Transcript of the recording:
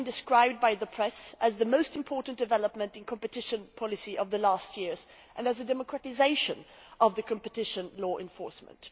It has been described by the press as the most important development in competition policy of the last years and as a democratisation of the competition law enforcement.